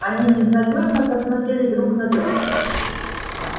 они безнадёжно посмотрели друг на друга